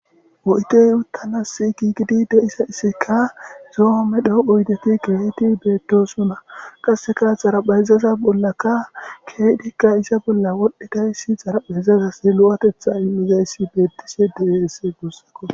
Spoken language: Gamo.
Oydey uttanas gigidi de'izayissika zo'o medho oydeti keehi beettosona qasseka xaraphayzaza bollaka keehidikka iza bolla wodhdhi dayssi xaraphayzazas lo'atetha immizayssi beettishe dees guussakko